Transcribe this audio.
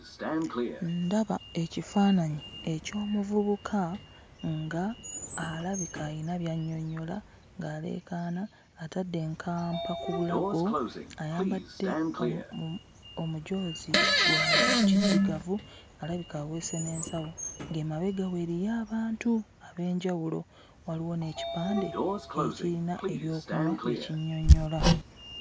Ndaba ekifaananyi eky'omuvubuka ng'alabika ayina by'annyonnyola ng'aleekaana atadde enkampa ku bulago ayambadde omu mm omujoozi gwa kiddugavu alabika aweese n'ensawo ng'emabega we eriyo abantu ab'enjawulo waliwo n'ekipande ekiyina ebyokunywa bye kinnyonnyola.